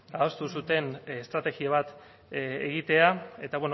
adostu duten estrategia bat egitea eta